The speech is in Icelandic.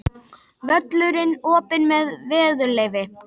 Völlurinn opinn meðan veður leyfir